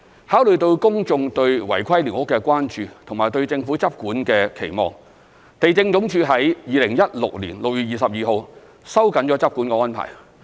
考慮到公眾對違規寮屋的關注及對政府執管的期望，地政總署於2016年6月22日收緊執管安排。